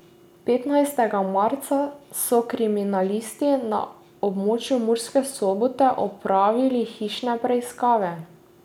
Petnajstega marca so kriminalisti na območju Murske Sobote opravljali hišne preiskave.